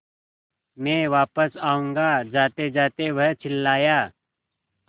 मैं वापस आऊँगा जातेजाते वह चिल्लाया